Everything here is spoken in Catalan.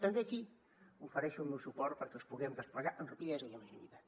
també aquí ofereixo el meu suport perquè els puguem desplegar amb rapidesa i amb agilitat